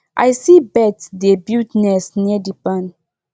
i see birds dey build nests near the barn